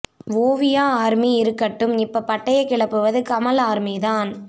Oviya army இருக்கட்டும் இப்ப பட்டைய கிளப்புவது கமல் ஆர்மி தான்